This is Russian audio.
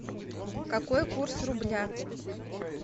какой курс рубля